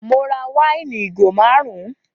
Mo ra wáìnì ìgò márùn